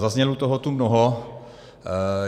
Zaznělo tu toho mnoho.